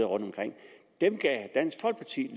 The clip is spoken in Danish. rundtomkring og dem gav dansk folkeparti